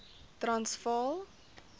transvaal